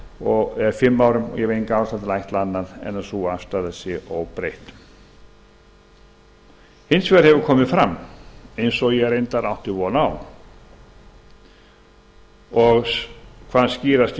og ég hef enga ástæðu til að ætla annað en að sú afstaða sé óbreytt hins vegar hefur komið fram eins og ég reyndar átti von á og hvað skýrast í